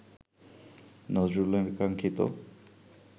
নজরুলের কাঙ্ক্ষিত